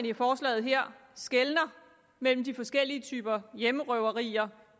i forslaget her skelner mellem de forskellige typer hjemmerøverier